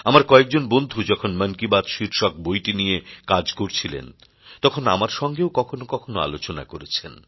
আমার কয়েকজন বন্ধু যখন মন কি বাত শীর্ষক বইটি নিয়ে কাজ করছিলেন তখন আমার সঙ্গেও কখনো কখনো আলোচনা করেছেন